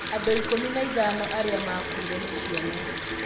Andũ 15 arĩa maakuire nĩ ciana.